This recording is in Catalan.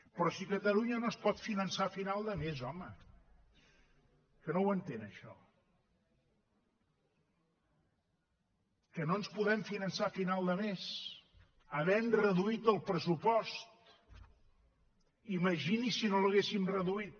però si catalunya no es pot finançar a final de mes home que no ho entén això que no ens podem finançar a final de mes havent reduït el pressupost imagini’s si no l’haguéssim reduït